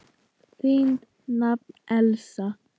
Þín nafna, Elísa.